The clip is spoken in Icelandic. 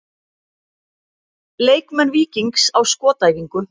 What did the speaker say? Leikmenn Víkings á skotæfingu.